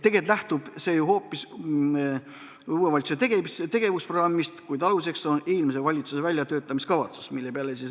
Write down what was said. Tegelikult lähtub see hoopis uue valitsuse tegevusprogrammist, kuid aluseks on eelmise valitsuse väljatöötamiskavatsus.